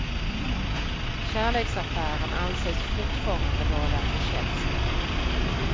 Kärleksaffären anses fortfarande vara för känslig.